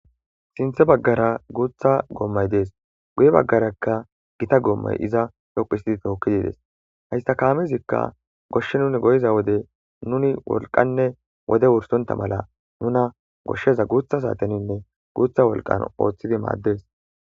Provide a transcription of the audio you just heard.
Sinththa bagara gutta gomay dess guye badaraka gitta gomay izza dhoqqu histtidi thokidi dess. Hayssa kamezikka goshsha nuni gizza wodde nuni wolqqanne wode wursontha mala nunna goshaza guththa satheninne guththa wolqqan ottidi madess.